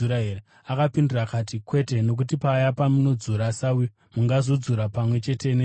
“Akapindura akati, ‘Kwete, nokuti paya pamunodzura sawi, mungazodzura pamwe chete nezviyo.